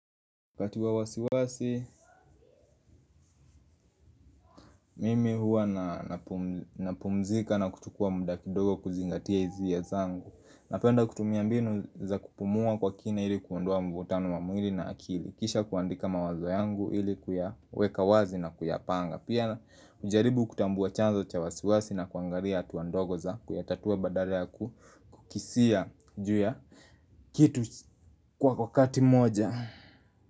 Wakati wa wasiwasi, mimi huwa napumzika na kuchukua muda kidogo kuzingatia hisia zangu. Napenda kutumia mbinu za kupumua kwa kina ili kuondoa mvutano wa mwili na akili. Kisha kuandika mawazo yangu ili kuyaweka wazi na kuyapanga. Pia hujaribu kutambua chanzo cha wasiwasi na kuangalia hatua ndogo za kuyatatua badala ya kukisia ju ya kitu kwa kwa kati moja.